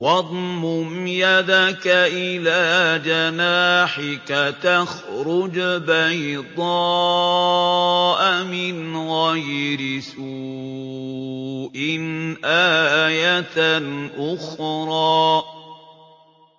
وَاضْمُمْ يَدَكَ إِلَىٰ جَنَاحِكَ تَخْرُجْ بَيْضَاءَ مِنْ غَيْرِ سُوءٍ آيَةً أُخْرَىٰ